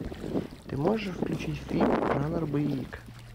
ты можешь включить фильм жанр боевик